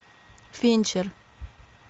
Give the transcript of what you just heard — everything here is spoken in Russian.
финчер